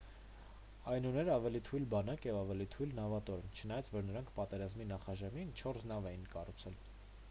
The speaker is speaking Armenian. այն ուներ ավելի թույլ բանակ և ավելի թույլ նավատորմ չնայած որ նրանք պատերազմի նախաշեմին չորս նոր նավ էին կառուցել